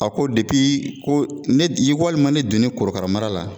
A ko ko ne i walima ne donnen korokara mara la.